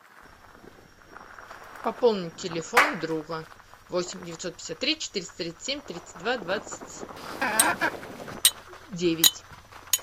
пополнить телефон друга восемь девятьсот пятьдесят три четыреста тридцать семь тридцать два двадцать девять